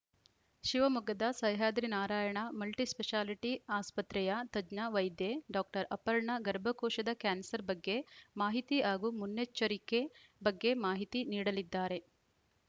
ಶಿವಮೊಗ್ಗದ ಸಹ್ಯಾದ್ರಿ ನಾರಾಯಣ ಮಲ್ಟಿಸ್ಪೆಷಾಲಿಟಿ ಆಸ್ಪತ್ರೆಯ ತಜ್ಞ ವೈದ್ಯೆ ಡಾಕ್ಟರ್ ಅಪರ್ಣ ಗರ್ಭಕೋಶದ ಕ್ಯಾನ್ಸರ್‌ ಬಗ್ಗೆ ಮಾಹಿತಿ ಹಾಗೂ ಮುನ್ನೆಚ್ಚರಿಕೆ ಬಗ್ಗೆ ಮಾಹಿತಿ ನೀಡಲಿದ್ದಾರೆ